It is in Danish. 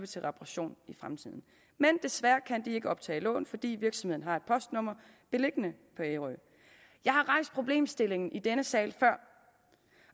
til reparation i fremtiden men desværre kan de ikke optage lån fordi virksomheden har et postnummer beliggende på ærø jeg har rejst problemstillingen i denne sal før